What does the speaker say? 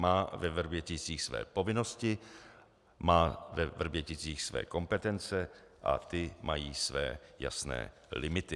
Má ve Vrběticích své povinnosti, má ve Vrběticích své kompetence a ty mají své jasné limity.